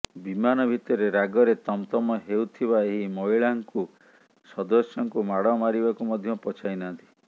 ବିମାନ ଭିତରେ ରାଗରେ ତମ ତମ ହେଉଥିବା ଏହି ମହିଳା କ୍ରୁ ସଦସ୍ୟଙ୍କୁ ମାଡ ମାରିବାକୁ ମଧ୍ୟ ପଛାଇନାହାନ୍ତି